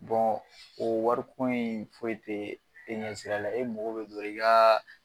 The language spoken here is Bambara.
o wariko in foyi tɛ e ɲɛ sira la e mago bɛ dɔrɔn i ka.